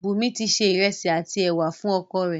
Bùńmi ti se ìrẹ̀sì àti ẹ̀wà fún oko rẹ̀.